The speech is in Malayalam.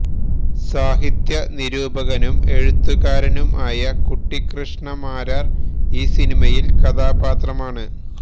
സാഹിത്യ നിരൂപകനും എഴുത്തുകാരനും ആയ കുട്ടികൃഷ്ണമാരാർ ഈ സിനിമയിൽ കഥാപാത്രമാണ്